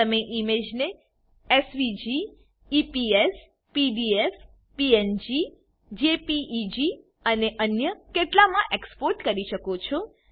તમે ઈમેજને SVG EPS PDF PNG JPEG અને અન્ય કેટલાકમા એક્સપોર્ટ કરી શકો છો